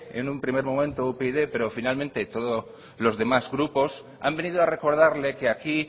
en un primer momento upyd pero finalmente todos los demás grupos han venido a recordarle que aquí